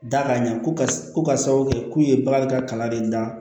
Da ka ɲɛ ko ka ko ka sababu kɛ k'u ye bagan ka kalan de da